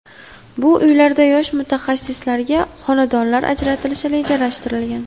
Bu uylarda yosh mutaxassislarga xonadonlar ajratilishi rejalashtirilgan.